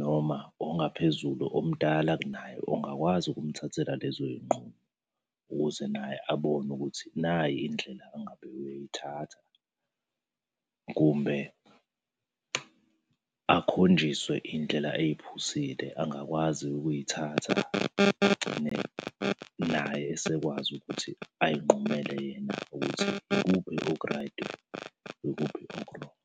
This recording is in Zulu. noma ongaphezulu omdala kunaye ongakwazi ukumthathela lezo iy'nqumo, ukuze naye abone ukuthi nayi indlela angabe uyayithatha. Kumbe akhonjiswe iy'ndlela ey'phusile angakwazi ukuy'thatha agcine naye esekwazi ukuthi ay'nqumele yena ukuthi, yikuphi okuraydi, yikuphi okurongi?